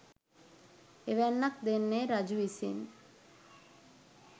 එවැන්නක් දෙන්නේ රජු විසින්